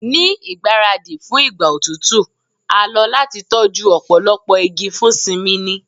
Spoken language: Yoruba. Ni igbaradi fun igba otutu a lo lati tọju ọpọlọpọ igi fun simini